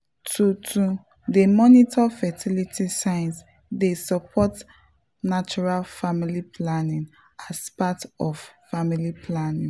to to dey monitor fertility signs dey support natural family planning as part of family planning.